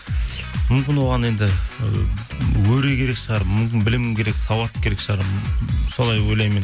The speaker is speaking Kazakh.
мүмкін оған енді і өре керек шығар мүмкін білім керек сауат керек шығар солай ойлаймын мен